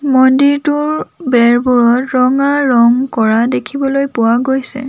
মন্দিৰটোৰ বেৰবোৰত ৰঙা ৰং কৰা দেখিবলৈ পোৱা গৈছে।